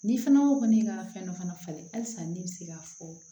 Ni fana ko ko ne ka fɛn dɔ fana falen halisa ne bɛ se k'a fɔ